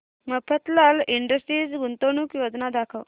Mafatlal industries गुंतवणूक योजना दाखव